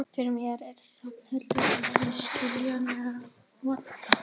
En þetta var bara óskhyggja.